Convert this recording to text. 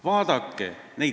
Vaadake!